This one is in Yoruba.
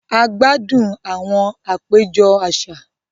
A gbádùn àwon àpéjọ àṣà